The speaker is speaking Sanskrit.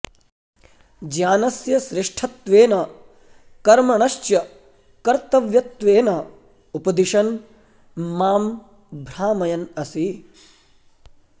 ज्ञानस्य श्रेष्ठत्वेन कर्मणश्च कर्तव्यत्वेन उपदिशन् मां भ्रामयन् असि